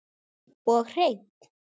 Og hreinn!